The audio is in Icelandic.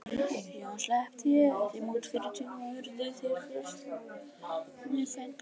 Síðan sleppti ég þeim út fyrir tún og urðu þeir frelsinu fegnir.